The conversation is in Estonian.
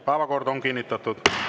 Päevakord on kinnitatud.